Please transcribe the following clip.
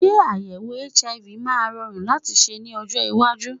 Ṣé àyèwò HIV máa rọrùn láti ṣe ní ọjọ́ iwájú!